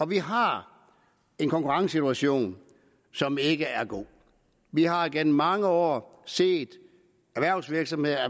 vi har en konkurrencesituation som ikke er god vi har igennem mange år set erhvervsvirksomheder